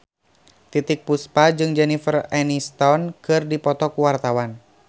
Titiek Puspa jeung Jennifer Aniston keur dipoto ku wartawan